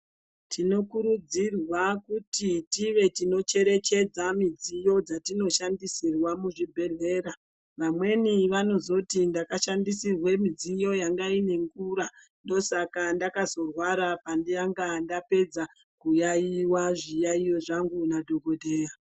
Tinokurudzirwa kuti tive tinocherechedza midziyo dzatinoshandisirwa muzvibhedhlera. Vamweni vanozoti ndakashandisirwe midziyo yanga ine ngura, ndosaka ndakazorwara pandanga ndapedza, kuyaiwa zviyaiyo zvangu nadhokodheya.